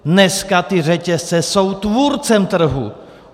Dneska ty řetězce jsou tvůrcem trhu.